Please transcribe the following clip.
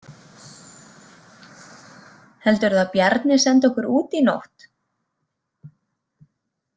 Heldurðu að Bjarni sendi okkur út í nótt?